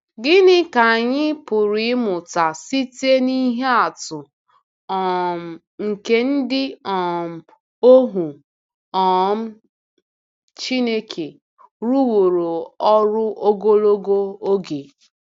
Gịnị ka anyị pụrụ ịmụta site n’ihe atụ um nke ndị um ohu um Chineke rụworo ọrụ ogologo oge?